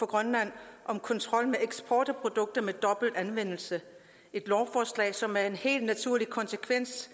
grønland om kontrol med eksport af produkter med dobbelt anvendelse et lovforslag som er en helt naturlig konsekvens